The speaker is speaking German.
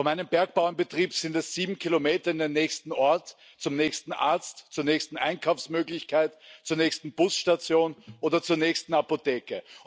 Von meinem Bergbauernbetrieb sind es sieben Kilometer in den nächsten Ort, zum nächsten Arzt, zur nächsten Einkaufsmöglichkeit, zur nächsten Busstation oder zur nächsten Apotheke.